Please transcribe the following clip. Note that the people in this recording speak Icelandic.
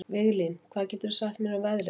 Viglín, hvað geturðu sagt mér um veðrið?